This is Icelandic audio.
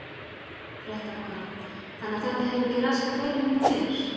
Fréttakona: Þannig að þetta hefur ekki raskað deginum hjá þér?